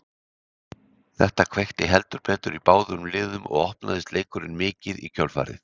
Þetta kveikti heldur betur í báðum liðum og opnaðist leikurinn mikið í kjölfarið.